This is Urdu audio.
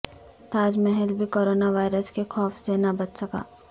تاج محل بھی کرونا وائرس کے خوف سے نہ بچ سکا